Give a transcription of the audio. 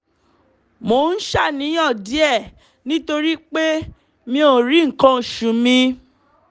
mo ń ṣàníyàn díẹ̀ nítorí pé mi ò rí nǹkan oṣù mi